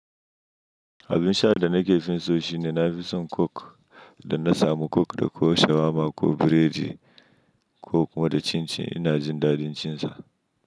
Abin sha da nake finso shi ne nafi son coke, idan na samu coke da ko shawarma ko biredi coke, ko kuma da cincin ina jin daɗin cin sa.